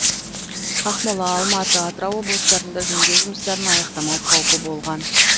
ақмола алматы атырау облыстарында жөндеу жұмыстарын аяқтамау қаупі болған